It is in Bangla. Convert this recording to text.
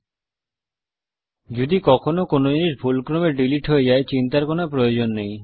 এ ক্ষেত্রে যদি কখনো কোনো জিনিস ভুলক্রমে ডীলিট হয়ে যায় চিন্তার কোনো প্রয়োজন নেই